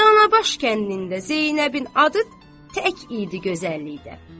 Danabaş kəndində Zeynəbin adı tək idi gözəllikdə.